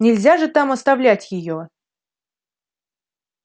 нельзя же там оставлять её